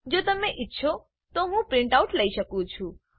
જો તમે ઈચ્છો છો તો હું પ્રીંટ આઉટ લઇ શકું છું